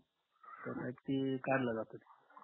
तर ती कडल जात ते